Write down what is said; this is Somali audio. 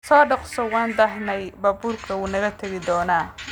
Soo dhaqso, waan daahnay, baabuurku wuu naga tagi doonaa